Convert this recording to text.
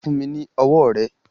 Fún mi ni ọwọ́ rẹ.